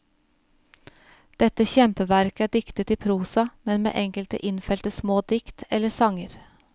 Dette kjempeverket er diktet i prosa, men med enkelte innfelte små dikt eller sanger.